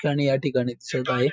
आणि या ठिकाणी चढ आहे.